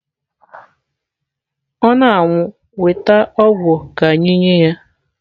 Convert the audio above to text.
Ọ na-anwụ weta ọgwụ ka anyị nye ya.